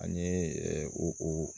Ani o